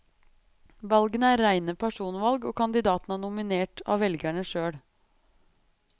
Valgene er reine personvalg, og kandidatene er nominert av velgerne sjøl.